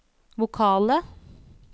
vokale